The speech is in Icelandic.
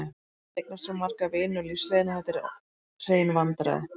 Ég hef eignast svo marga vini á lífsleiðinni að þetta eru hrein vandræði.